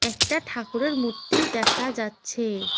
একটা ঠাকুরের মূর্তি দেখা যাচ্ছে।